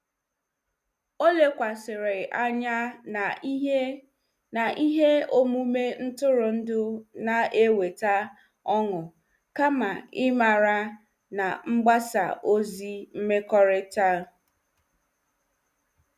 Ọ lekwasịrị anya na ihe na ihe omume ntụrụndụ na-eweta ọṅụ kama ịmara na mgbasa ozi mmekọrịta.